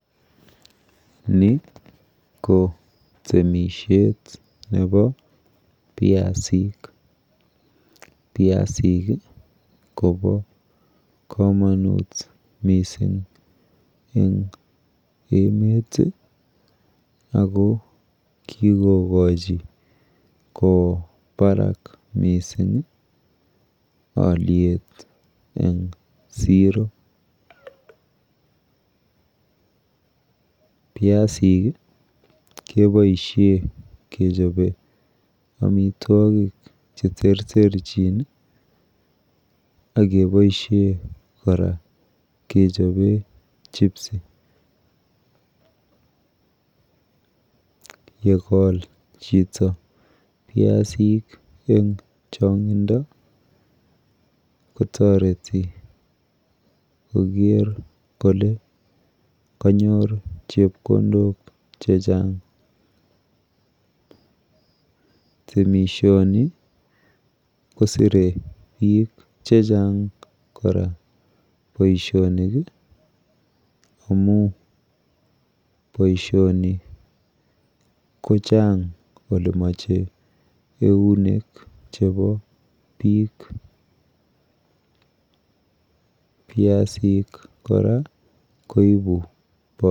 Ni ko temishet nepo piasik. Piasik kopo komonut mising eng emet ako kikokochi kowo barak mising alyet eng siro. Piasik keboishe kechope amitwokik cheterterchin akeboishe kora kechope chipsi. Yekol chito piasik eng chong'indo kotoreti koker kole kanyor chepkondok chechang. Temishoni kosire biik chechang kora boishonik amu boishoni kochang olemoche eunek chepo biik. Piasik kora koipu...